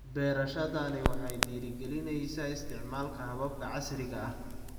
Beerashadani waxay dhiirigelinaysaa isticmaalka hababka casriga ah.